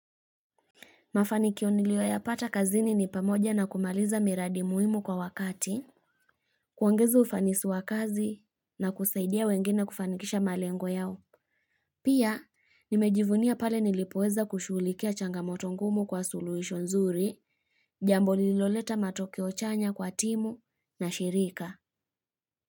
Mafanikio niliyoyapata kazini ni pamoja na kumaliza miradi muhimu kwa wakati, kuongeza ufanisi wa kazi na kusaidia wengine kufanikisha malengo yao. Pia, nimejivunia pale nilipoweza kushughulikia changamoto ngumu kwa suluhisho nzuri, jambo lililoleta matokeo chanya kwa timu na shirika.